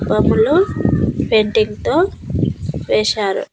బములో painting తో వేసారు.